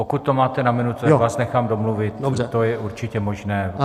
Pokud to máte na minutu, já vás nechám domluvit, to je určitě možné.